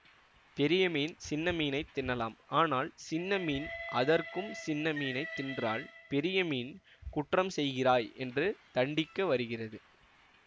பெரிய மீன் சின்ன மீனைத் தின்னலாம் ஆனால் சின்ன மீன் அதற்கும் சின்ன மீனைத் தின்றால் பெரிய மீன் குற்றம் செய்கிறாய் என்று தண்டிக்க வருகிறது